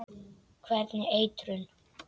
Hvernig eitrun?